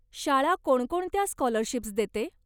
शाळा कोणकोणत्या स्कॉलरशिप्स देते?